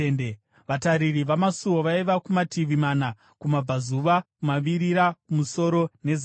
Vatariri vamasuo vaiva kumativi mana, kumabvazuva, kumavirira, kumusoro nezasi.